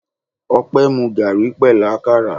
Opé mu garri pẹ̀lú àkàrà.